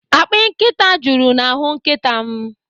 Akpị nkịta juru n'ahụ nkịta m.